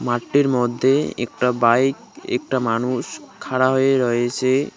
মাঠটির মধ্যে একটা বাইক একটা মানুষ খাড়া হয়ে রয়েসে।